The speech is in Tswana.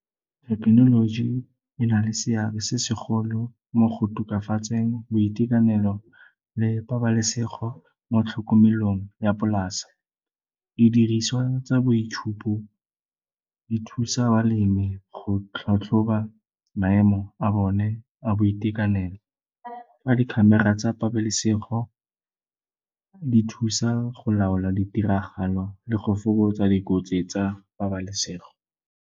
Thekenoloji e na le seabe se segolo mo go tokafatseng boitekanelo le pabalesego mo tlhokomelong ya polase. Diriswa tsa boitshupo di thusa balemi go tlhatlhoba maemo a bone a boitekanelo, fa di-camera tsa pabalesego di thusa go laola ditiragalo le go fokotsa dikotsi tsa pabalesego.